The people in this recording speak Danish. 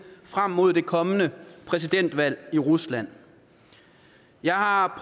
frem mod det kommende præsidentvalg i rusland jeg har